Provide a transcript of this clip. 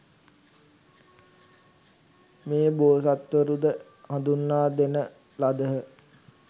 මේ බෝසත්වරු ද හඳුන්වා දෙන ලදහ.